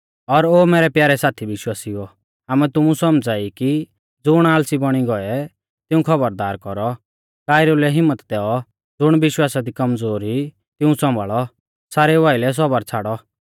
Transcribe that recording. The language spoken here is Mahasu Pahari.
और ओ मैरै प्यारै साथी विश्वासिउओ आमै तुमु सौमझ़ाई ई कि ज़ुण आल़सी बौणी गौऐ तिऊं खौबरदार कौरौ कायरु लै हिम्मत दैऔ ज़ुण विश्वासा दी कमज़ोर ई तिऊं सौम्भाल़ौ सारेउ आइलै सौबर छ़ाड़ौ